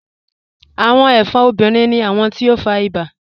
Awọn ẹfọ́n obìnrin ni awọn ti o fá ìbà.